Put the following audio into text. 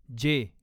जे